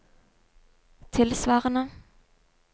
tilsvarende